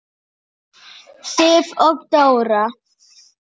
Sif og Dóra.